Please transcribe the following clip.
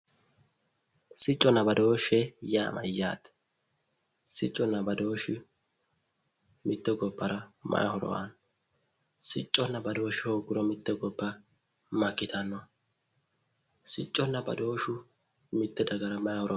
sicconna badooshshe yaa mayyate? siccunna badooshshu mitte gobbara may horo aanno? sicconna badooshshe hoogguro gobba makkitanno? siccunna badooshshu mitte dagara may horo aano?